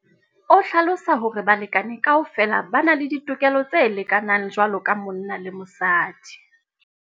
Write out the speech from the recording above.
O hlalosa hore balekane kaofela ba na le ditokelo tse lekanang jwalo ka monna le mosadi.